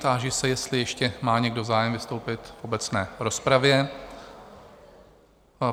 Táži se, jestli ještě má někdo zájem vystoupit v obecné rozpravě?